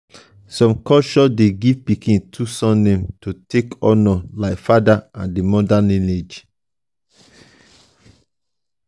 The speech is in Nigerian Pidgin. some culture de give pikin two surnames to take honor the father and the mother lineage